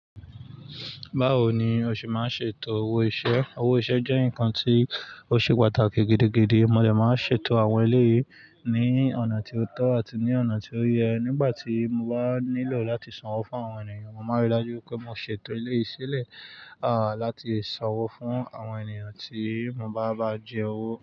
Báwo ni o ṣe máa ń ṣètò owó iṣẹ́? Owó iṣẹ́ jẹ́ nǹkan tí ó ṣe pàtàkì gidigidi. Mo lè máa ń ṣètò àwọn eléyìí ní ọ̀nà tí ó tọ́ àti ní ọ̀nà tí ó yẹ. Nígbà tí mo bá nílò láti sanwó fún àwọn ènìyàn, mo máa rí i dájú pé mo ṣètò eleyi si lẹ̀, à, láti sanwó fún àwọn ènìyàn tí mo bá bá jẹ owó.